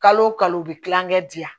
Kalo kalo u bɛ kilankɛ diyan